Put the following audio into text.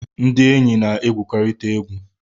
Ndi enyi na-egwukọrịta egwu